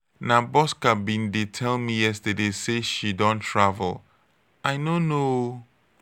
na bosca bin dey tell me yesterday say she don travel. i no know ooo